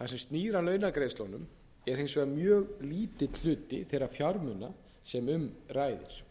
það sem snýr að launagreiðslunum er hins vegar mjög lítill hluti þeirra fjármuna sem um ræðir